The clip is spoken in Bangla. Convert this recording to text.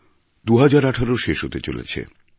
২০১৮ শেষ হতে চলেছে